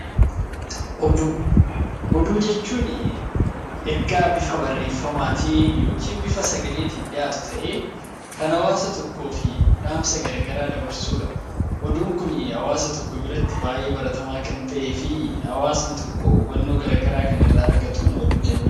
Oduu Oduu jechuun ergaa bifa barreeffamaatiin yookiin bifa sagaleetiin dhiyaatu ta'ee kan hawaasa tokkoof dhaamsa garagaraa dabarsuu dha. Oduun kun hawaasa tokko biratti baay'ee baratamaa kan ta'ee fi hawaasni tokko hubannoo garagaraa kan irraa argatuun oduu jenna.